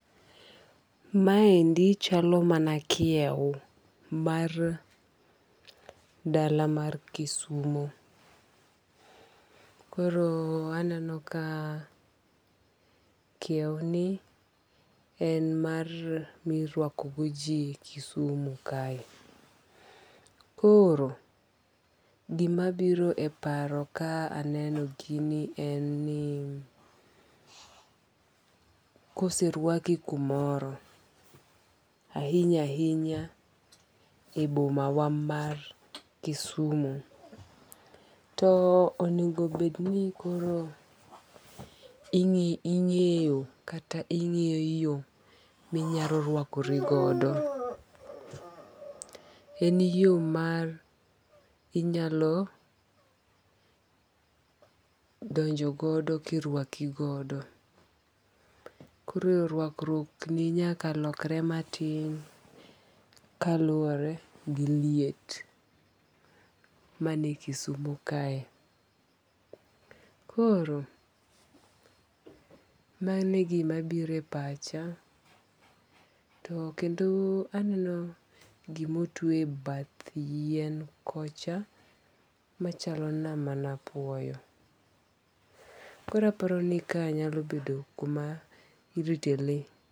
Ma endi chalo mana kiew mar dala mar Kisumo. Koro aneno ka kiew ni en mar mirwako go ji Kisumu kae. Koro gima biro e paro ka aneno gini en ni koserwaki kumoro, ahinya ahinya e boma wa mar Kisumu, to onego bed ni koro ing'eyo kata ingi'yo yo minyalo rwakori godo. En yo ma inyalo donjo godo kirwaki godo. Koro rwakruok ni nyaka lokre matin kaluwore gi liet mani e Kisumu kae. Koro mano e gima biro e pacha. To kendo aneno gimotwe e bath yien kocha machalo na mana apuoyo. Koro aparo ni ka nyalo bedo kuma irite le.